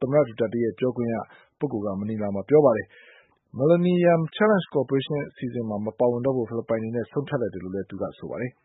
သမ္မတ Duterte ရဲ့ ပြောခွင့်ရ Harry Roque က မနီလာမြို့မှာ ပြောပါတယ်။ Millennium Challenge Corporation အစီအစဉ်မှာ မပါဝင်တော့ဖို့ ဖိလစ်ပိုင်အနေနဲ့ ဆုံးဖြတ်လိုက်တယ်လို့ သူက ပြောပါတယ်။